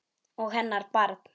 Og hennar barn.